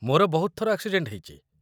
ମୋର ବହୁତ ଥର ଆକ୍ସିଡେଣ୍ଟ୍ ହେଇଚି ।